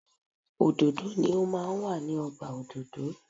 Òdòdó ni o máa ń wà ní ọgbà òdòdó.